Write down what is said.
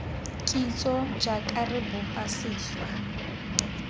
kitso jaaka re bopa sešwa